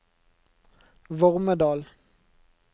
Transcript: Vormedal